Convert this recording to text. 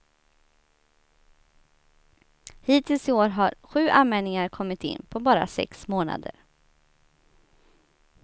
Hittills i år har sju anmälningar kommit in, på bara sex månader.